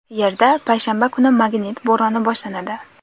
Yerda payshanba kuni magnit bo‘roni boshlanadi.